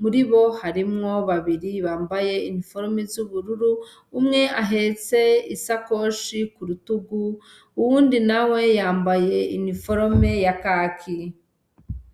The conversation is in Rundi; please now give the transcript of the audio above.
muri bo harimwo babiri bambaye iniforome z'ubururu, umwe ahetse isakoshe ku rutugu uwundi nawe yambaye iniforome ya kaki.